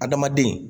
Adamaden